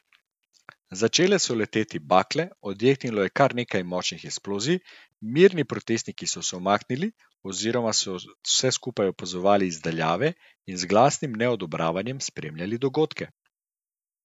Začele so leteti bakle, odjeknilo je kar nekaj močnih eksplozij, mirni protestniki so se umaknili oziroma so vse skupaj opazovali iz daljave in z glasnim neodobravanjem spremljali dogodke.